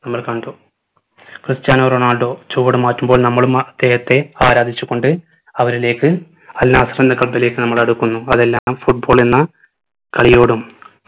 നമ്മൾ കണ്ടു Cristiano Ronaldo ചുവടു മാറ്റുമ്പോൾ നമ്മളും അദ്ദേഹത്തെ ആരാധിച്ചു കൊണ്ട് അവരിലേക്ക് അൽനാസർ എന്ന club ലേക്ക് നമ്മൾ അടുക്കുന്നു അതെല്ലാം football എന്ന കളിയോടും